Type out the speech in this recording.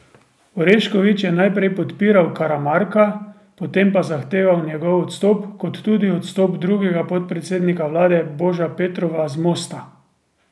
Orešković je najprej podpiral Karamarka, potem pa zahteval njegov odstop kot tudi odstop drugega podpredsednika vlade Boža Petrova z Mosta.